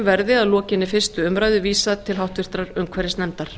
verði að lokinni fyrstu umræðu vísað til háttvirtrar umhverfisnefndar